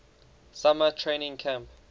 summer training camp